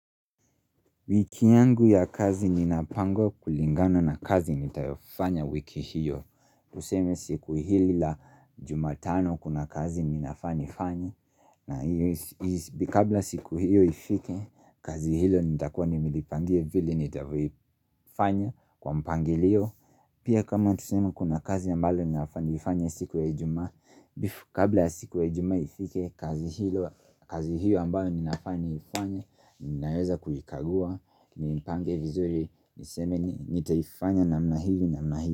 Wiki yangu ya kazi ninapangwa kulingana na kazi nitayofanya wiki hiyo. Tuseme siku hili la jumatano kuna kazi ninafaa nifanye. Na hiyo kabla siku hiyo ifike, kazi hilo nitakuwa nimelipangia vili nitavyoifanya kwa mpangilio. Pia kama tuseme kuna kazi ambalo ninafaa nifanye siku ya ijumaa. Bifu kabla siku ya ijumaa ifike kazi hilo kazi hiyo ambayo ninafaa niifanye Ninaweza kuikagua niimpange vizuri Niseme nitaifanya namna hivi.